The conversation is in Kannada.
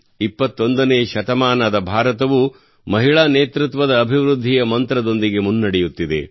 21ನೇ ಶತಮಾನದ ಭಾರತವು ಮಹಿಳಾ ನೇತೃತ್ವದ ಅಭಿವೃದ್ಧಿಯ ಮಂತ್ರದೊಂದಿಗೆ ಮುನ್ನಡೆಯುತ್ತಿದೆ